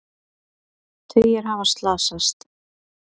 Tugir hafa slasast